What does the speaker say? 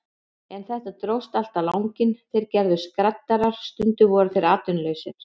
En þetta dróst allt á langinn, þeir gerðust skraddarar, stundum voru þeir atvinnulausir.